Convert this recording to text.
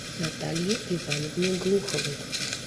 наталье ивановне глуховой